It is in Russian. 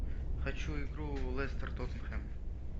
хочу игру лестер тоттенхэм